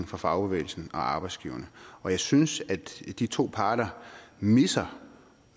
fra fagbevægelsen og arbejdsgiverne og jeg synes at de to parter misser